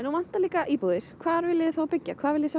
nú vantar íbúðir hvar viljiði þá byggja hvað viljiði